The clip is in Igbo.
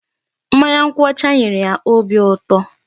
Mmanya nkwụ ọcha nyere ya obi ụtọ.